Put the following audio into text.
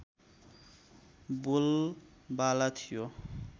बोलबाला थियो